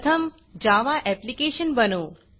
प्रथम Java application बनवू